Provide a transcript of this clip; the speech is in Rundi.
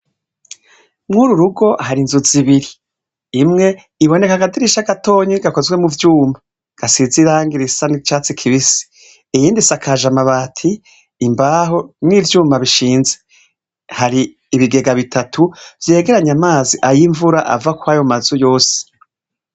Mwuru rugo hari inzu zibiri, imwe iboneka akadirisha gatoyi gakozwe muvyuma gasize irangi risa nicatsi kibisi, iyindi isakaje amabati, imbaho n'ivyuma bishinze, hari ibigega bitatu vyegeranya amazi ayimvura ava kwayo mazu yose.